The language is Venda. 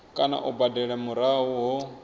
kana u badela murahu ho